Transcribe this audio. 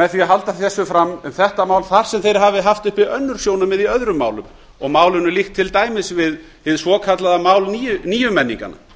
með því að halda þessu fram um þetta mál þar sem þeir hafi haft uppi önnur sjónarmið í öðrum málum og málinu líkt til dæmis við hið svokallaða mál níumenninganna